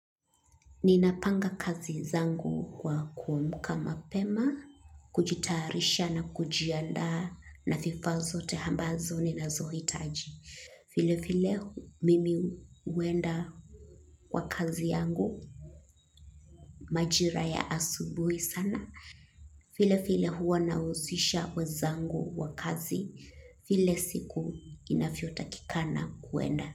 Ninapanga kazi zangu kwa kuamka mapema, kujitayarisha na kujiandaa na vifaa zote ambazo ninazohitaji. Vile vile mimi huenda kwa kazi yangu majira ya asubuhi sana. Vile vile huwa nahusisha wenzangu wa kazi vile siku inavyotakikana kuenda.